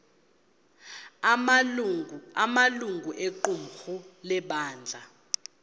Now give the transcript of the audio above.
amalungu equmrhu lebandla